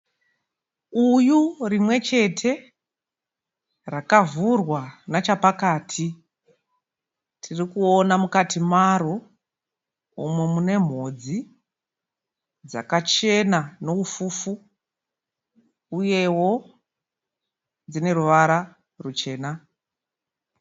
Uyu rimwechete rakavhurwa nachapakati. Tirikuona mukati maro umo munemhodzi dzakachena neufufu uyewo dzineruvara ruchena.